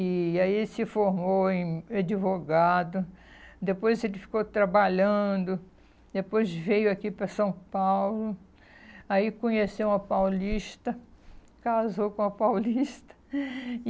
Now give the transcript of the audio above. E aí ele se formou em advogado, depois ele ficou trabalhando, depois veio aqui para São Paulo, aí conheceu uma paulista, casou com uma paulista.